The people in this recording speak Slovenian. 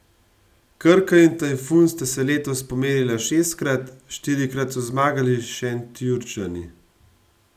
Krka in Tajfun sta se letos pomerila šestkrat, štirikrat so zmagali Šentjurčani.